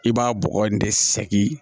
I b'a bɔgɔ in de sɛgi